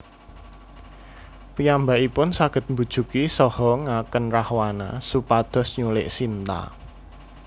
Piyambakipun saged mbujuki saha ngakèn Rahwana supados nyulik Sinta